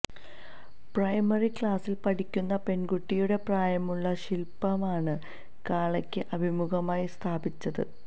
primary ക്ളാസിൽ പഠിക്കുന്ന പെൺകുട്ടിയുടെ പ്രായമുള്ള ശിൽപമാണ് കാളക്ക് അഭിമുഖമായി സ്ഥാപിച്ചത്